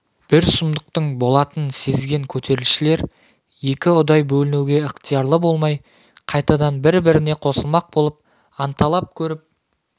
бір сұмдықтың болатынын сезген көтерілісшілер екі ұдай бөлінуге ықтиярлы болмай қайтадан бір-біріне қосылмақ болып анталап көріп